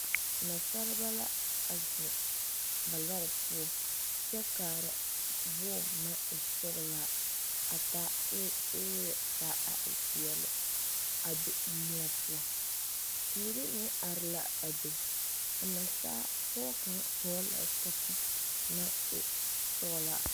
Nasaleba la a zeŋ ba lɔre poɔ kyɛ kaara wɔɔ naŋ e sɔgelaa a taa eeli ka a e peɛle a be moɔ poɔ teere meŋ are la a be a nasapɔge kaŋ hɔgele la zapili naŋ e sɔglaa